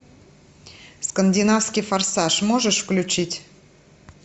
скандинавский форсаж можешь включить